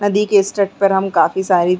नदी के इस तट पर हम काफी सारी --